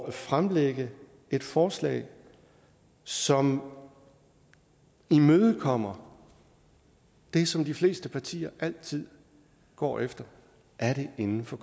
at fremsætte et forslag som imødekommer det som de fleste partier altid går efter er det inden for